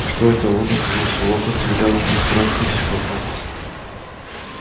что это он удивился локонс и глянул на собравшихся вокруг